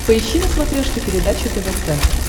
поищи на смотрешке передачу тв центр